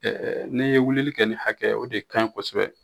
n'i ye wulili kɛ ni hakɛ ye o de kaɲi kosɛbɛ